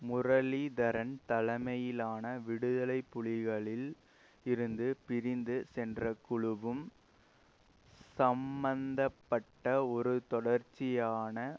முரளீதரன் தலைமையிலான விடுதலை புலிகளில் இருந்து பிரிந்து சென்ற குழுவும் சம்பந்த பட்ட ஒரு தொடர்ச்சியான